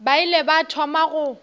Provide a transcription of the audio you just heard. ba ile ba thoma go